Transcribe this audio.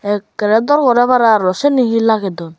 ekkere dor gore paro aro siyeni hee lage don.